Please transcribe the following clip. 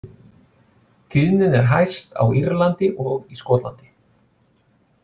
Tíðnin er hæst á Írlandi og í Skotlandi.